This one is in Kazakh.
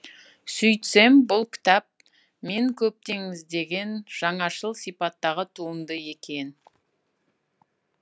сөйтсем бұл кітап мен көптеніздеген жаңашыл сипаттағы туынды екен